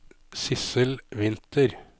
Sissel Winther